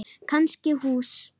Kannski hús.